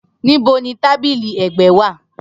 Nibo ni tabili ẹgbẹ wa?